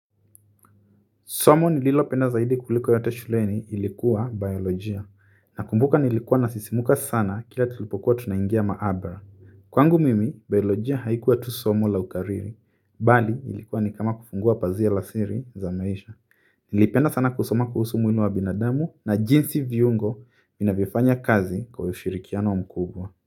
Somo nililopenda zaidi kuliko yote shuleni ilikuwa biolojia, na kumbuka nilikuwa nasisimka sana kila tulipokuwa tunaingia maabara. Kwangu mimi, biolojia haikuwa tu somu la ukariri, bali ilikuwa nikama kufungua pazia la siri za maisha. Nilipenda sana kusoma kuhusu mwili wa binadamu na jinsi viungo vinavyo fanya kazi kwa ushirikiano mkubwa.